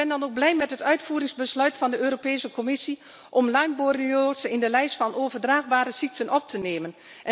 Ik ben dan ook blij met het uitvoeringsbesluit van de Europese Commissie om Lyme borreliose in de lijst van overdraagbare ziekten op te nemen.